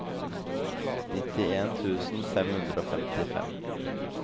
nittien tusen fem hundre og femtifem